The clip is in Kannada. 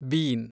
ಬೀನ್